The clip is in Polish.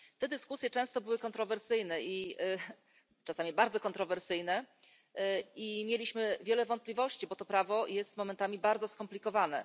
Te dyskusje często były kontrowersyjne czasami bardzo kontrowersyjne i mieliśmy wiele wątpliwości, bo to prawo jest momentami bardzo skomplikowane.